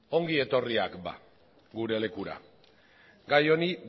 ongi etorriak bada gure lekura gai honi